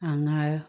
An ŋaa